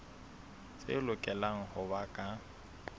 tse lokelang ho ba ka